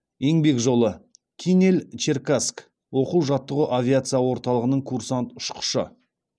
еңбек жолы кинель черкасск оқу жаттығу авиация орталығының курсант ұшқышы